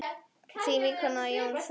Þín vinkona Jóna Þórunn.